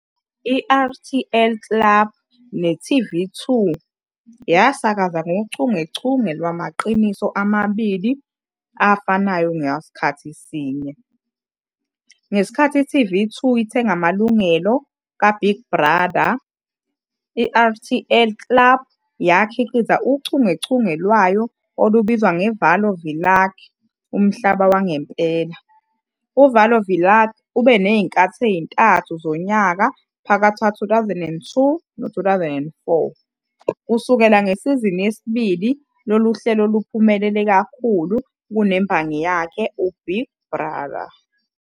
I-RTL Klub ne-TV2 yasakaza ngochungechunge lwamaqiniso amabili afanayo ngasikhathi sinye. Ngenkathi i-TV2 ithenga amalungelo "kaBig Brother", i-RTL Klub yakhiqiza uchungechunge lwayo olubizwa "ngeValó Világ", Umhlaba Wangempela."UValó Világ" ube nezinkathi ezintathu zonyaka phakathi kuka-2002 no-2004. Kusukela ngesizini yesibili lolu hlelo luphumelele kakhulu kunembangi yakhe "uBig Brother".